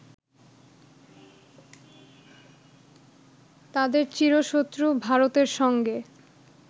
তাদের চিরশত্রু ভারতের সঙ্গে